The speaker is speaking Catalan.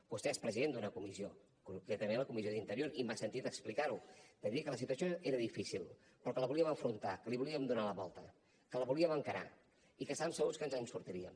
vostè és president d’una comissió concretament de la comissió d’interior i m’ha sentit explicar ho dir que la situació era difícil però que la volíem afrontar que li volíem donar la volta que la volíem encarar i que estàvem segurs que ens en sortiríem